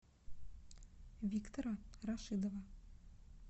виктора рашидова